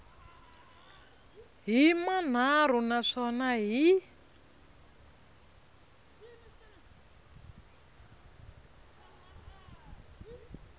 hi manharhu na swona hi